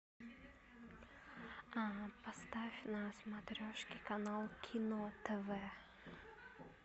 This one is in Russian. поставь на смотрешке канал кино тв